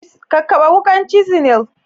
Kakkaɓe wukar cisinl.